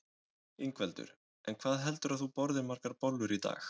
Ingveldur: En hvað heldurðu að þú borðir margar bollur í dag?